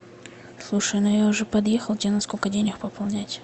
слушай ну я уже подъехал тебе на сколько денег пополнять